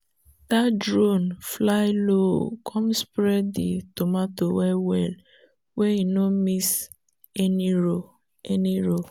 that drone fly low come spray the tomato well-well wey e no miss any row. any row.